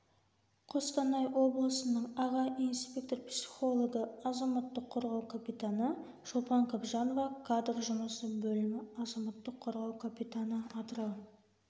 қостанай облысының аға инспектор-психологы азаматтық қорғау капитаны шолпан қабжанова кадр жұмысы бөлімі азаматтық қорғау капитаны атырау